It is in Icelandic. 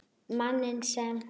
Manninn sem.